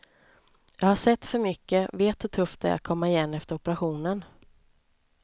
Jag har sett för mycket, vet hur tufft det är att komma igen efter operationen.